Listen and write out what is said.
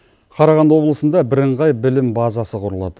қарағанды облысында бірыңғай білім базасы құрылады